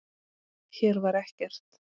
Hér var ekkert.